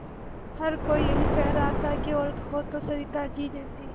हर कोई यही कह रहा था औरत हो तो सविताजी जैसी